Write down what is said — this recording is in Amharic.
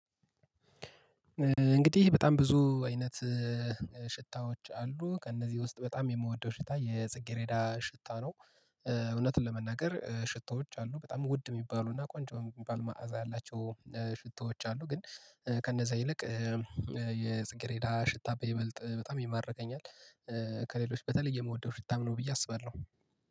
እንግዲህ በጣም ብዙ አይነት ሽታዎች አሉ ከእነዚህ ውስጥ በጣም የምወደው ሽታ የጽጌሬዳ ሽታ ነው። እውነትን ለመናገር ሽታዎች አሉ በጣም ውድ የሚባሉና ቆንጆ የሚባል መዓዛ ያላቸው ሽቶዎች አሉ ግን ከእነዚያ ይልቅ የጽጌሬዳ ሽታ በይበልጥ በጣም ይማረከኛል። ከሌሎች በተለየ የምወደው ሽታ ነው ብዬ አስባለሁ